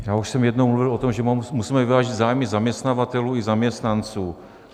Já už jsem jednou mluvil o tom, že musíme vyvážit zájmy zaměstnavatelů i zaměstnanců.